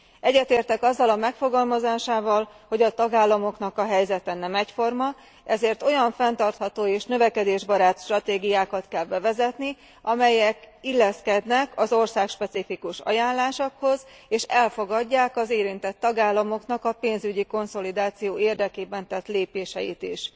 Egyetértek azzal a megfogalmazásával, hogy a tagállamoknak a helyzete nem egyforma, ezért olyan fenntartható és növekedésbarát stratégiákat kell bevezetni, amelyek illeszkednek az országspecifikus ajánlásokhoz, és elfogadják az érintett tagállamoknak a pénzügyi konszolidáció érdekében tett lépéseit is.